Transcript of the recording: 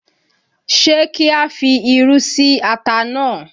Ṣé kí á fi irú sí ata náà?